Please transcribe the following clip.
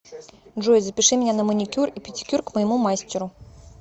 джой запиши меня на маникюр и педикюр к моему мастеру